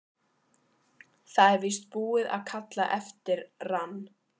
Það er víst búið að kalla eftir rann